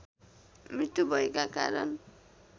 मृत्यु भएका कारण